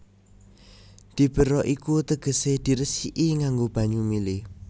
Diberok iku tegesé diresiki nganggo banyu mili